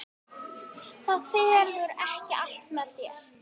Það fellur ekki allt með þér.